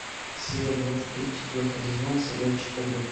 серия двадцать три четвертый сезон сериальчик побег